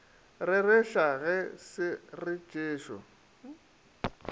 rereša ge se re jesu